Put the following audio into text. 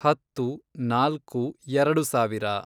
ಹತ್ತು, ನಾಲ್ಕು, ಎರೆಡು ಸಾವಿರ